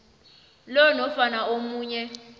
lo nofana omunye